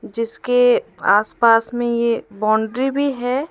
जिसके आसपास में ये बाउंड्री भी है।